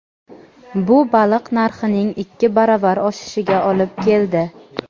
Bu baliq narxining ikki baravar oshishiga olib keldi.